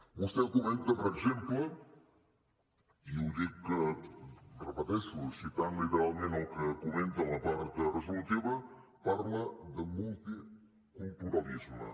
vostè comenta per exemple i ho dic ho repeteixo citant literalment el que comenta en la part resolutiva parla de multiculturalisme